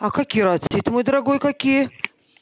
мой дорогой какие